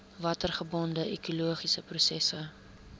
watergebonde ekologiese prosesse